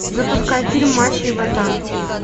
запускай фильм мачо и ботан